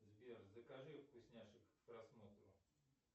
сбер закажи вкусняшек к просмотру